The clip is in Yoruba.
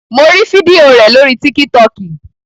Mo rí fídíò rẹ̀ lórii tíkítọkì